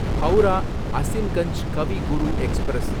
Howrah Azimganj Kavi Guru express